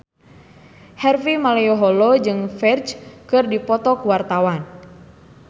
Harvey Malaiholo jeung Ferdge keur dipoto ku wartawan